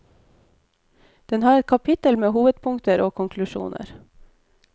Den har et kapittel med hovedpunkter og konklusjoner.